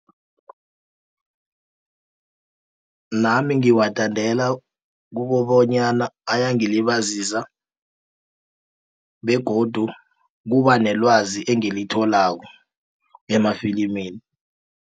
Nami ngiwathandela kukobonyana ayangilibazisa begodu kubanelwazi engilitholako emafilimini.